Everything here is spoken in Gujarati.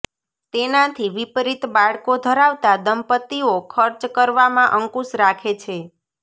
તેનાથી વિપરીત બાળકો ધરાવતા દંપતીઓ ખર્ચ કરવામાં અંકુશ રાખે છે